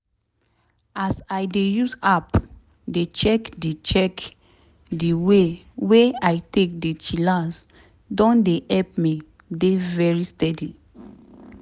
as i dey use app dey check di check di way wey i take dey chillax don dey help me dey very steady.